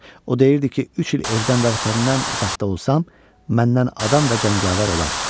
O deyirdi ki, üç il evdən və vətənindən uzaqda olsam, məndən adam və cəngavər olar.